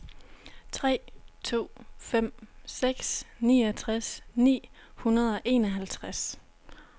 tre to fem seks niogtres ni hundrede og enoghalvtreds